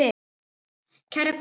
Kæra Guðrún.